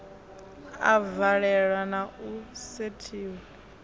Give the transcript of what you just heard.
a valelwa na u setshiwa